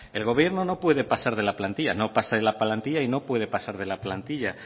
el gobierno no puede pasar de la plantilla no pasa de la plantilla y no puede pasar de la plantilla